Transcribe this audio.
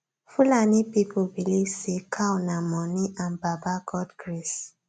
fulani people believe say cow nah money and baba god grace